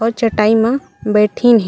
और चटाई मा बैठीन हे।